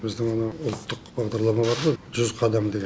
біздің анау ұлттық бағдарлама бар ғой жүз қадам деген